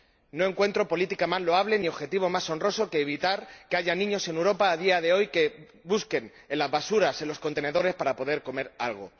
No encuentro política más loable ni objetivo más honroso que evitar que haya niños en Europa, a día de hoy, que busquen en las basuras, en los contenedores, para poder comer algo.